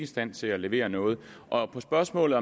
stand til at levere noget og spørgsmålet